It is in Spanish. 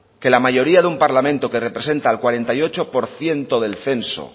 que la mayoría de un parlamento que representa al cuarenta y ocho por ciento del censo